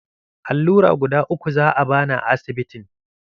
Allura guda uku za'a bani a asibitin.